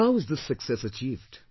But how is this success achieved